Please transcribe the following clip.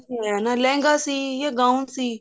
ਲਹਿੰਗਾ ਸੀ ਯਾ gown ਸੀ